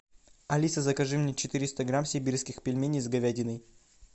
алиса закажи мне четыреста грамм сибирских пельменей с говядиной